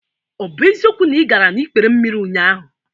Ọ bụ eziokwu na ị gara n'ikpere mmiri ụnyaahụ?